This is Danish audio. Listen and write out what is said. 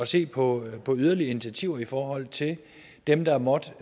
se på på yderligere initiativer i forhold til dem der måtte